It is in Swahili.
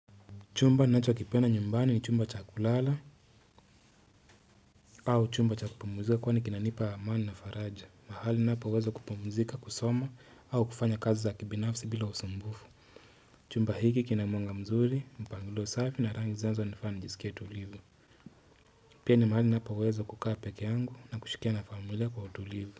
Chumba ninachokipenda nyumbani ni chumba cha kulala au chumba cha kupumzika kwani kinanipa amani na faraja. Mahali ninapoweza kupumzika, kusoma au kufanya kazi za kibinafsi bila usumbufu. Chumba hiki kina mwanga mzuri, mpangilio safi na rangi zinazonifanya nijisikie tulivu. Pia ni mahali ninapoweza kukaa peke yangu na kushikia na familia kwa utulivu.